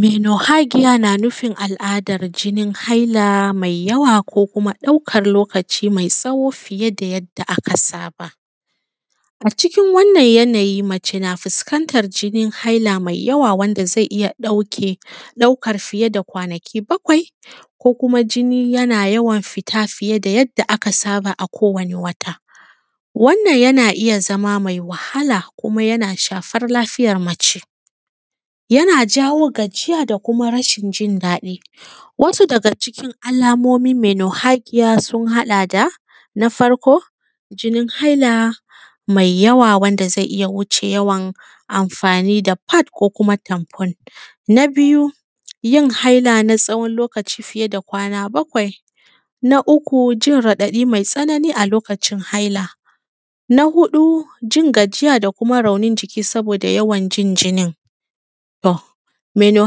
Menu hadiya na nufin al’ada na jinin haila meyawa ko kuma ɗauƙan lokuta meyawa mǝ tsaho fiye da yadda aka saba a cikin wannan yanayi mace na fuskantan jinin haila fiye da yadda zai iya ɗauƙal fiye da kwanaki bakwai ko kuma jini yana yawan fita da yadda akowane wata wannan yana iya zama mai wahala ko kuma yana shafan lafiya mace yana jawo gajiya da ko kuma rashin jin daidai wasu da cikin jin alamomun menu hadiya ya haɗa da na farko jinin haila maiyawa wanda zai iya wuce yawan anfani da fad ko kuma tanfo ita na biya yin haila na tsawon lokuta fiye da kwana bakwai na uku jin radaɗi metsanani a lokutan haila na huɗu jin gajiya da ko kuma rauni a lokuta jinin meno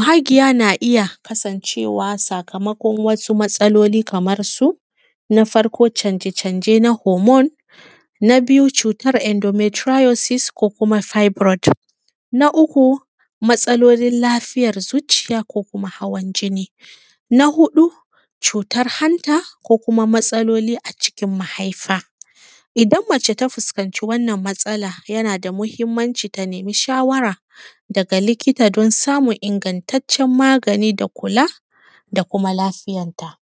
hagiya na iya kasancewa sakamakon wasu matasaloli kamar haka na farko canje-canje na humon na biyar cutan endometratiez da ko kuma saite brote na uku matasalolin lafiyan zuciya na hawan jini na huɗu cutan hanta ko kuma matasaloli a cikin mahaifa idan mace ta fuskanci wannan matsala yana da mahimanci ta nemi shawara na likita don samun ingantaccen magani da kula da ko kuma lafiyanta